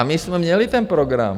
A my jsme měli ten program.